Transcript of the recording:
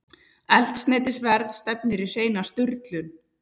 Eldsneytisverð stefnir í hreina sturlun